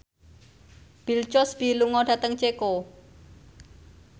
Bill Cosby lunga dhateng Ceko